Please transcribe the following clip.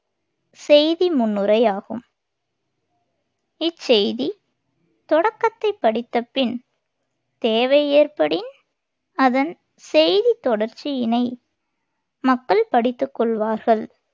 செய்தி முன்னுரை ஆகும் இச்செய்தித் தொடக்கத்தைப் படித்த பின் தேவை ஏற்படின் அதன் செய்தித் தொடர்ச்சியினை மக்கள் படித்துக் கொள்வார்கள்.